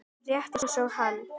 Rétt eins og hann.